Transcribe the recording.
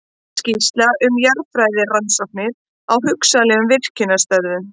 Skýrsla um jarðfræðirannsóknir á hugsanlegum virkjunarstöðum.